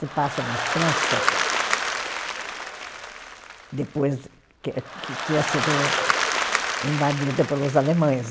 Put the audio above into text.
se passa na França que, depois que que tinha sido invadida pelos alemães.